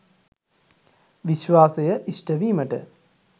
විශ්වාසය ඉෂ්ට වීමට